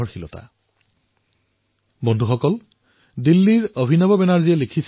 অভিনৱজীয়ে তেওঁৰ আত্মীৰ সৰু লৰাছোৱালীৰ উপহাৰ ক্ৰয় কৰাৰ বাবে দিল্লীৰ ঝাণ্ডেবালান বজাৰলৈ গৈছিল